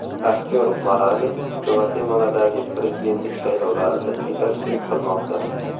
Aktyor Morales Gvatemaladagi prezidentlik saylovlarida yetakchilik qilmoqda.